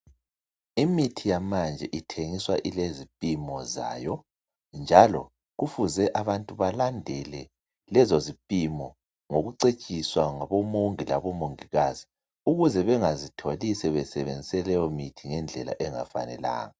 Imithi yamanje ithengiswa ilezipimo zayo njalo kufuze abantu balandele lezo zipimo ngokucetshiswa ngabomongi labomongikazi ukuze bengazitholi sebesebenzise leyo mithi ngendlela engafanelanga.